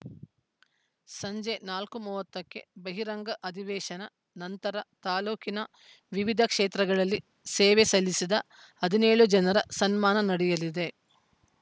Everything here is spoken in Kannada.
ಸಂಜೆ ನಾಲ್ಕು ಮೂವತ್ತಕ್ಕೆ ಬಹಿರಂಗ ಅಧಿವೇಶನ ನಂತರ ತಾಲೂಕಿನ ವಿವಿಧ ಕ್ಷೇತ್ರಗಳಲ್ಲಿ ಸೇವೆ ಸಲ್ಲಿಸಿದ ಹದಿನೇಳು ಜನರ ಸನ್ಮಾನ ನಡೆಯಲಿದೆ